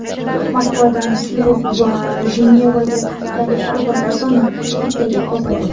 Moskvadan Syurix va Jenevaga haftalik parvozlar soni bittaga ko‘payadi.